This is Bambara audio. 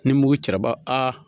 Ni mugu cɛla ba a